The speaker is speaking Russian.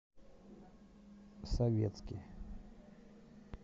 советский